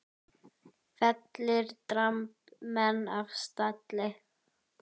Fellir dramb menn af stalli.